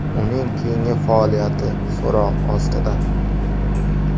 Uning keyingi faoliyati so‘roq ostida.